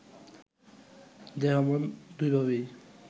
দেহ-মন দুইভাবেই